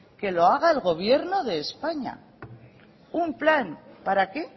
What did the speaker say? que lo haga el gobierno de españa un plan para qué